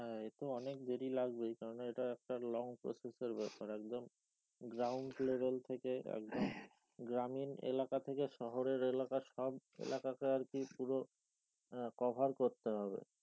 হ্যাঁ এ তো অনেক দেরী লাগবেই কারণ এটা একটা long process এর ব্যপার একদম ground level থেকে একদম গ্রামীন এলাকা থেকে শহরের এলাকা সব এলাকাকে আর কি পূর আহ cover করতে হবে।